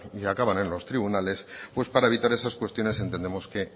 y acaban en los tribunales pues para evitar esas cuestiones entendemos que